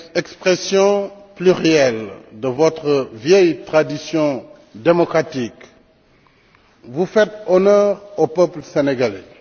expression plurielle de votre vieille tradition démocratique, vous faites honneur au peuple sénégalais.